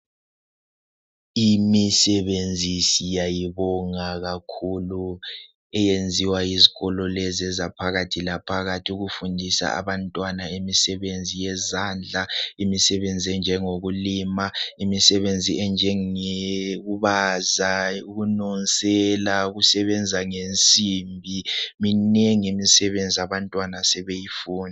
Imisebenzi siyayibonga kakhulu eyenziwa yizikolo lezi ezaphakathi laphakathi ukufundisa abantwana imisebenzi yezandla, imisebenzi enjengokulima, imisebenzi enjengokubaza, ukununsela, ukusebenza ngensimbi minengi imisebenzi abantwana abasebeyifunda.